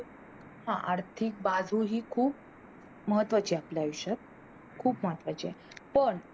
हा आर्थिक बाजू खूप महत्वाची असते भविष्यात पण